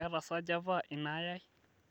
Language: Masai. keeta sa java inaayae